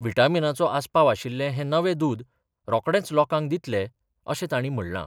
व्हिटामिनाचो आस्पाव आशिल्ले हें नवे दूद रोखडेंच लोकांक दितले अशें तांणी म्हणलां.